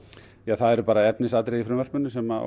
það eru bara efnisatriði í frumvarpinu sem